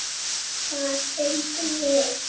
Hvað fengum við?